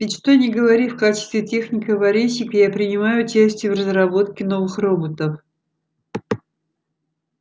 ведь что ни говори в качестве техника-аварийщика я принимаю участие в разработке новых роботов